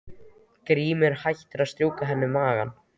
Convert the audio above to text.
Grímur hættir að strjúka henni um magann.